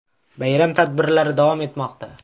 Bayram tadbirlar davom etmoqda.